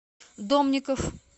домников